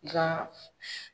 Nka